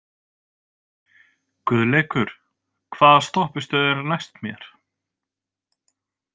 Guðleikur, hvaða stoppistöð er næst mér?